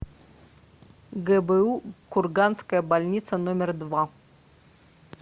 гбу курганская больница номер два